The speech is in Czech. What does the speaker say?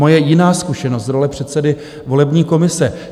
Moje jiná zkušenost z role předsedy volební komise.